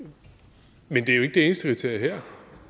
eneste kriterie